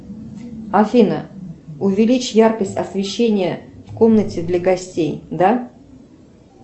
афина увеличь яркость освещения в комнате для гостей да